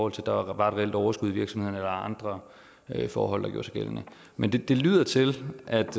at der var et reelt overskud i virksomheden eller andre forhold der gjorde sig gældende men det det lyder til at der